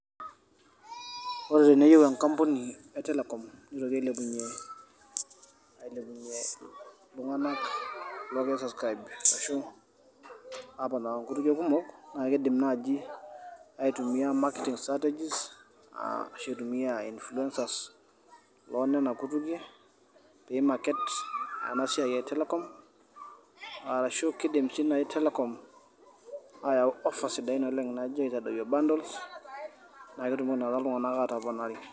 Ore teneyieue enkampuni e telecom nilepunyie iltung'anak loogira aisascraib ashu aponaa inkutukie kumok naa keidim naaji aitumiya marketing strategies ashu eitumiya inifuliensas loo Nena kutukie pee maket ena siai etelecom arashu keidim sii naii telecom ayau ofas sidai oleng' naijio aitadoyio bantols naa ketumoki naaji iltung'anak aatoponari.